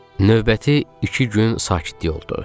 Növbəti iki gün sakitlik oldu.